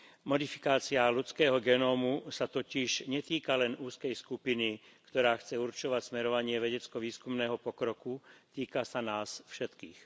Modifikácia ľudského genómu sa totiž netýka len úzkej skupiny, ktorá chce určovať smerovanie vedecko výskumného pokroku, týka sa nás všetkých.